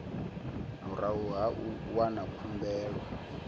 murahu ha u wana khumbelo